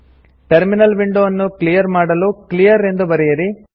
terminal window ಅನ್ನು clear ಮಾಡಲು clear ಎಂದು ಬರೆಯಿರಿ